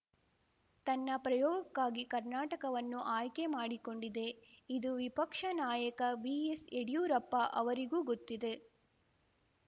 ತನ್ನ ಪ್ರಯೋಗಕ್ಕಾಗಿ ಕರ್ನಾಟಕವನ್ನು ಆಯ್ಕೆ ಮಾಡಿಕೊಂಡಿದೆ ಇದು ವಿಪಕ್ಷ ನಾಯಕ ಬಿಎಸ್‌ಯಡಿಯೂರಪ್ಪ ಅವರಿಗೂ ಗೊತ್ತಿದೆ